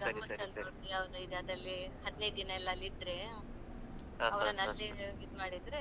ಧರ್ಮಸ್ಥಳದಲ್ಲಿ ಯಾವುದೋ ಇದೆ ಅದಲ್ಲಿ ಹದಿನೈದಿನ ಎಲ್ಲ ಅಲ್ಲಿ ಇದ್ರೆ. ಅಲ್ಲಿಗ್ ಇದು ಮಾಡಿದ್ರೆ